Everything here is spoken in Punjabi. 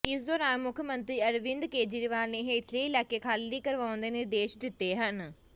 ਇਸ ਦੌਰਾਨ ਮੁੱਖ ਮੰਤਰੀ ਅਰਵਿੰਦ ਕੇਜਰੀਵਾਲ ਨੇ ਹੇਠਲੇ ਇਲਾਕੇ ਖਾਲੀ ਕਰਵਾਉਣ ਦੇ ਨਿਰਦੇਸ਼ ਦਿੱਤੇ ਹਨ